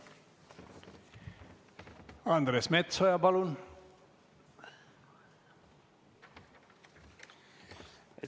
Andres Metsoja, palun!